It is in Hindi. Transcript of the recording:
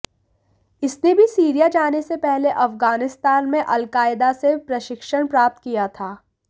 इसने भी सीरिया जाने से पहले अफगानिस्तान में अल कायदा से प्रशिक्षण प्राप्त किया था